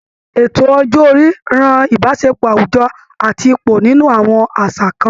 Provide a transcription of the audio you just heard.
Ètò ọjọ́ orí ran Ìbáṣepọ̀ àwùjọ àti ipò nínú àwọn àṣà kan